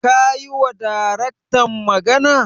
Ka yiwa Daraktan magana?